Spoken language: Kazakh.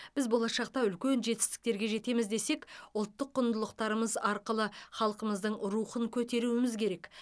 біз болашақта үлкен жетістіктерге жетеміз десек ұлттық құндылықтарымыз арқылы халқымыздың рухын көтеруіміз керек